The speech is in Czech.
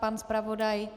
Pan zpravodaj?